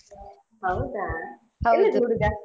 ಹೌದಾ ಹುಡುಗ?